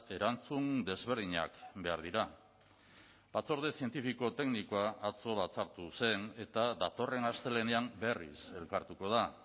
erantzun desberdinak behar dira batzorde zientifiko teknikoa atzo batzartu zen eta datorren astelehenean berriz elkartuko da